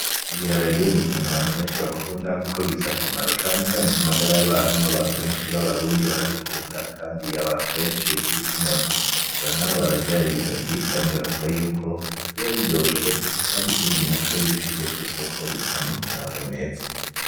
Ibiharage n’ikintu abantu beshi bakunda kuko gifise akamaro canecane ku magara y'abantu abantu beshi ba Barundi barabikunda kandi nk'abantu beshi nkibice 30% bararya ibiharage kandi bavuga yuko biba biryoshe kandi ikindi naco iyo ubishize ku isoko biguha n'amafaranga meza.